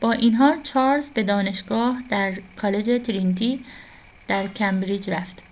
با این حال، چارلز به دانشگاه در کالج ترینیتی در کمبریج رفت